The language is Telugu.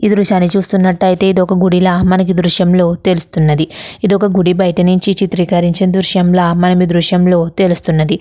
ఈ దృశ్యం చూసినట్టు అయితే మనకి ఒక గుడిలో ఈ దృశ్యం లో తెలుస్తున్నది. ఇది గుడి బయట నుండి చిత్రీకరించిన దృశ్యంలో తెలుస్తున్నది.